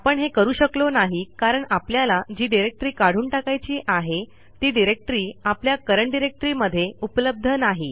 आपण हे करू शकलो नाही कारण आपल्याला जी डिरेक्टरी काढून टाकायची आहे ती डिरेक्टरी आपल्या करंट डायरेक्टरी मध्ये उपलब्ध नाही